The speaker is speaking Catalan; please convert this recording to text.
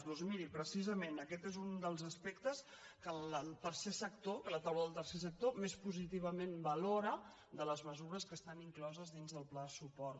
doncs miri precisament aquest és un dels aspectes que el tercer sector que la taula del tercer sector més positivament valora de les mesures que estan incloses dins del pla de suport